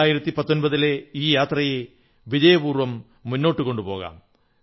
2019 ലെ ഈ യാത്രയെ വിജയപൂർവ്വം മുന്നോട്ടു കൊണ്ടുപോകാം